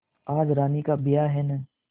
आज रानी का ब्याह है न